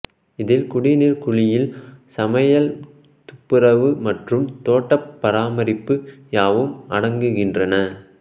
இதில் குடிநீர் குளியல் சமையல் துப்புரவு மற்றும் தோட்டப் பராமரிப்பு யாவும் அடங்குகின்றன